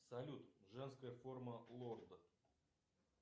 салют женская форма лорд